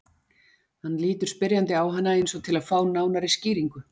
Hann lítur spyrjandi á hana eins og til að fá nánari skýringu.